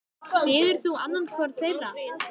Styður þú annan hvorn þeirra?